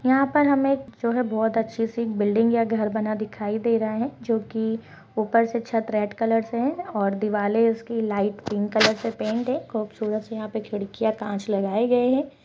यहाँ पर हमें जो हैं बहुत अच्छी सी बिल्डिंग या घर बना दिखाई दे रहा हैं जो कि ऊपर से छत रेड कलर से है और दिवाले उसकी लाइट पिंक कलर से पेंट है खूबसूरत सी यहाँ पे खिड़कियाँ कांच लगाए गए हैं।